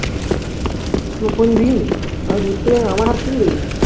প্রথম দিন আমি ঘুরতে গেলাম আমার হাত থেকেই দেখেছে